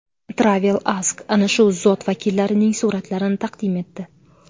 TravelAsk ana shu zot vakillarining suratlarini taqdim etdi .